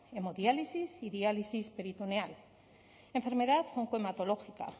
hemodiálisis y diálisis peritoneal enfermedad oncohematológica